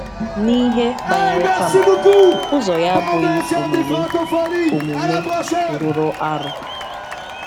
N’ihe banyere Tama, ụzọ ya abụghị omume omume rụrụ arụ.